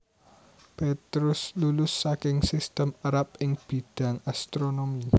Petrus lulus saking sistem Arab ing bidhang astronomi